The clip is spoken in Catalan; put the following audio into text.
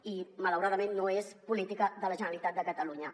i malauradament no és política de la generalitat de catalunya